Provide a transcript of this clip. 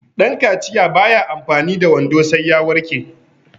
dankaciya ba ya amfani da wando sai ya warke